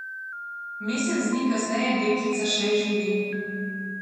Mesec dni kasneje deklica še živi.